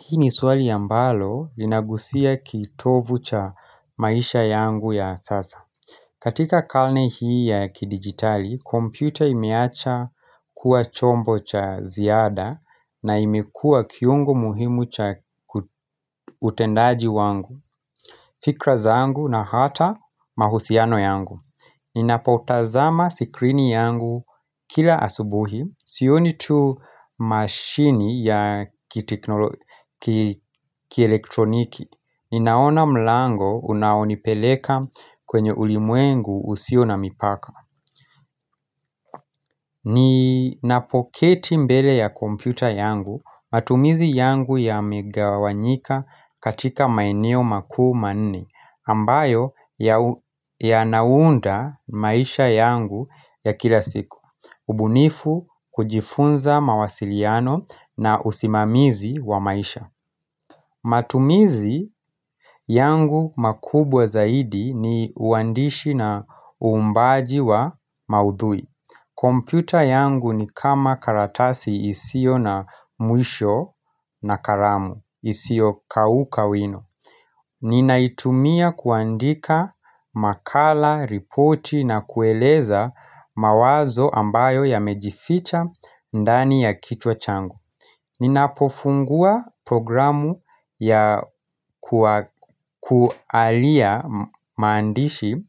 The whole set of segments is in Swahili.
Hii ni swali ya ambalo linagusia kitovu cha maisha yangu ya sasa. Katika kalne hii ya kidigitali, computer imeacha kuwa chombo cha ziada na imekua kiungo muhimu cha utendaji wangu, fikra zaangu na hata mahusiano yangu. Ninapoutazama sikrini yangu kila asubuhi, sioni tu mashini ya kielektroniki Ninaona mlango unaonipeleka kwenye ulimwengu usio na mipaka Ninapoketi mbele ya kompyuta yangu, matumizi yangu yamegawanyika katika maeneo makuu manne ambayo yanaunda maisha yangu ya kila siku ubunifu kujifunza mawasiliano na usimamizi wa maisha matumizi yangu makubwa zaidi ni uandishi na umbaji wa maudui Computer yangu ni kama karatasi isio na mwisho na karamu isio kauka wino Ninaitumia kuandika makala, ripoti na kueleza mawazo ambayo yamejificha ndani ya kichwa changu Ninapofungua programu ya kualia maandishi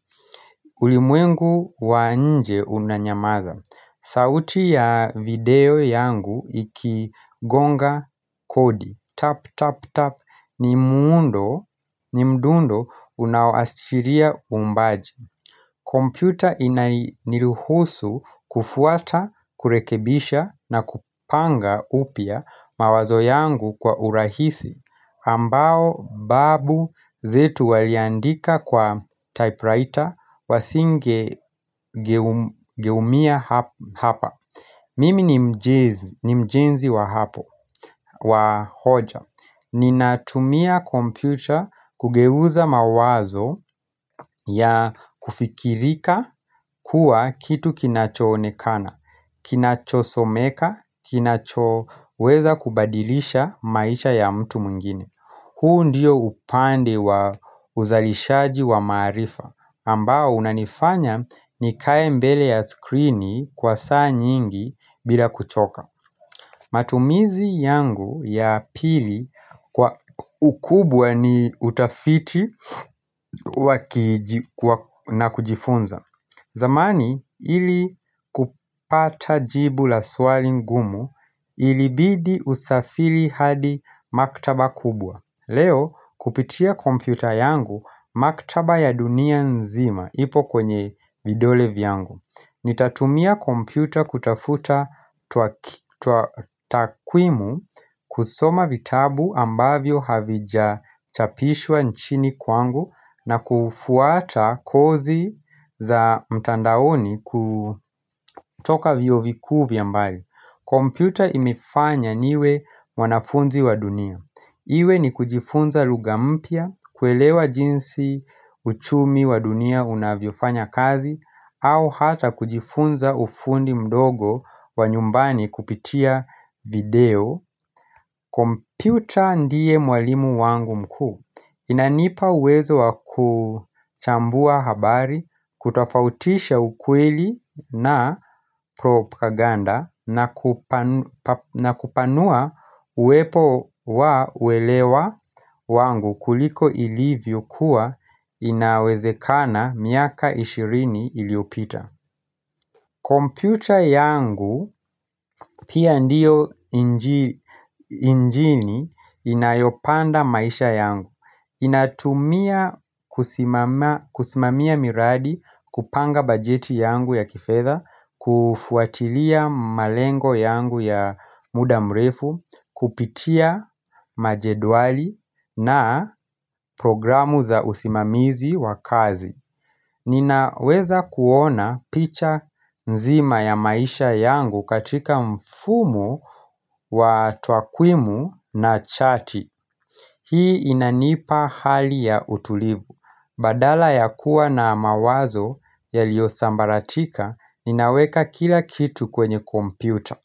ulimwengu wa nje unanyamaza sauti ya video yangu ikigonga kodi Tap, tap, tap ni mdundo unawaoashiria umbaji kompyuta inaniruhusu kufuata, kurekebisha na kupanga upia mawazo yangu kwa urahisi ambao babu zetu waliandika kwa typewriter wasingegeumia hapa Mimi ni mjenzi wa hapo, wa hoja Ninatumia computer kugeuza mawazo ya kufikirika kuwa kitu kinachonekana Kinachosomeka, kinachoweza kubadilisha maisha ya mtu muingine huu ndiyo upande wa uzalishaji wa marifa ambao unanifanya nikae mbele ya skrini kwa saa nyingi bila kuchoka matumizi yangu ya pili kwa ukubwa ni utafiti na kujifunza zamani ili kupata jibu la swali ngumu ilibidi usafili hadi maktaba kubwa Leo kupitia kompyuta yangu maktaba ya dunia nzima ipo kwenye vidole vyangu Nitatumia kompyuta kutafuta tuatakwimu kusoma vitabu ambavyo havijachapishwa nchini kwangu na kufuata kozi za mtandaoni kutoka vio vikuu via mbali Computer imefanya niwe mwanafunzi wa dunia Iwe ni kujifunza luga mpia, kuelewa jinsi uchumi wa dunia unavyofanya kazi au hata kujifunza ufundi mdogo wa nyumbani kupitia video Computer ndie mwalimu wangu mkuu Inanipa uwezo wa kuchambua habari, kutafautisha ukweli na propaganda na kupanua uepo wa uelewa wangu kuliko ilivyo kuwa inawezekana miaka ishirini iliopita Computer yangu pia ndiyo injini inayopanda maisha yangu ninatumia kusimamia miradi, kupanga bajeti yangu ya kifedha, kufuatilia malengo yangu ya muda mrefu, kupitia majedwali na programu za usimamizi wa kazi Ninaweza kuona picha nzima ya maisha yangu katika mfumo wa twakwimu na chati. Hii inanipa hali ya utulivu. Badala ya kuwa na mawazo yaliosambaratika, ninaweka kila kitu kwenye kompyuta.